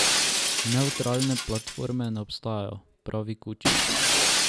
Nevtralne platforme ne obstajajo, pravi Kučić.